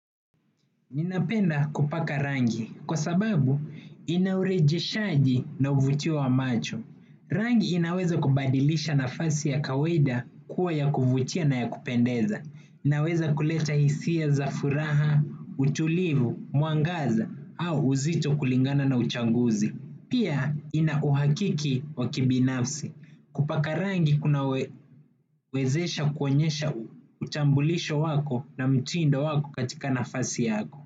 Ninapenda kupaka rangi kwa sababu ina urejeshaji na uvutiwa wa macho. Rangi inaweza kubadilisha nafasi ya kawaida kuwa ya kuvutia na ya kupendeza. Inaweza kuleta hisia za furaha, utulivu, mwangaza au uzito kulingana na uchaguzi. Pia inauhakiki wakibinafsi. Kupaka rangi kunawezesha kuonyesha utambulisho wako na mtindo wako katika nafasi yako.